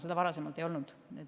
Seda varem ei olnud.